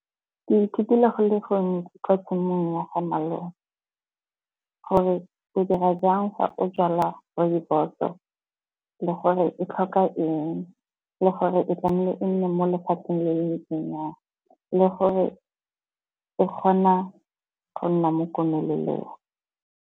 Ke ithutile go le gontsi kwa tshimong ya ga malome. Gore ke dira jang fa o jala rooibos-o, le gore e tlhoka eng, le gore e tlamehile e nne mo lefatsheng le ntseng jang, le gore e kgona go nna mo komelelong.